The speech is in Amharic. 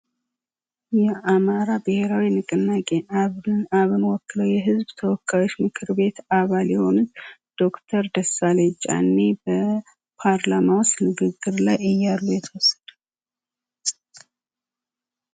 የአማራ ብሔራዊ ንቅናቄ አብን ወክሎ የህዝብ ተወካዮች ምክር ቤት አባል የሆነ ዶክተር ደሳለኝ ጫኔ በፓርላማው ውስጥ ንግግር ላይ እያሉ የተወስደ